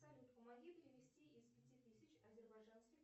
салют помоги перевести из пяти тысяч азербайджанских